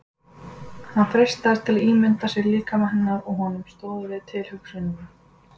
Hann freistaðist til að ímynda sér líkama hennar og honum stóð við tilhugsunina.